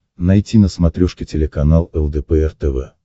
найти на смотрешке телеканал лдпр тв